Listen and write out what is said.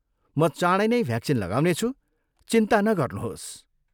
म चाँडै नै भ्याक्सिन लगाउनेछु, चिन्ता नगर्नुहोस्।